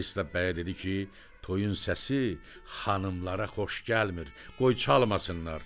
Pristav bəyə dedi ki, toyun səsi xanımlara xoş gəlmir, qoy çalmasınlar.